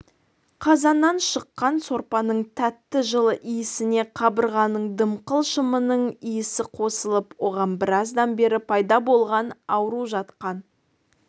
қазаннан шыққан сорпаның тәтті жылы иісіне қабырғаның дымқыл шымының иісі қосылып оған біраздан бері пайда болған ауру жатқан